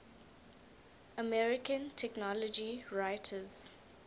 american technology writers